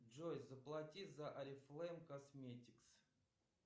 джой заплати за орифлэйм косметикс